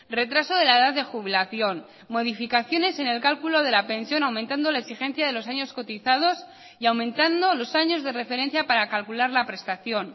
retraso de la edad de jubilación modificaciones en el cálculo de la pensión aumentando la exigencia de los años cotizados y aumentando los años de referencia para calcular la prestación